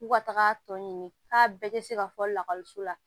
K'u ka taga tɔ ɲini k'a bɛɛ te se ka fɔ lakɔliso la